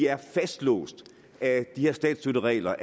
er fastlåst af de her statsstøtteregler